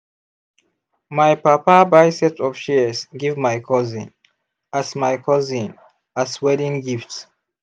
i arrange my shears hand glove and trowel well for the school garden project.